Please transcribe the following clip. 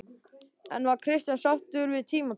En var Kristján sáttur við tímabilið?